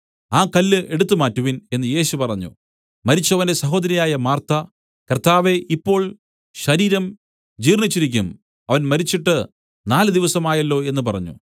ആ കല്ല് എടുത്തുമാറ്റുവിൻ എന്നു യേശു പറഞ്ഞു മരിച്ചവന്റെ സഹോദരിയായ മാർത്ത കർത്താവേ ഇപ്പോൾ ശരീരം ജീർണ്ണിച്ചിരിക്കും അവൻ മരിച്ചിട്ട് നാലുദിവസമായല്ലോ എന്നു പറഞ്ഞു